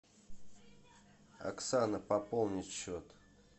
оксана пополнить счет